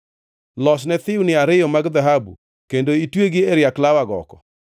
Losne thiwni ariyo mag dhahabu kendo itwegi e riak law agoko.